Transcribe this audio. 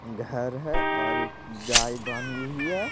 घर है और एक गाय बनी हुई है।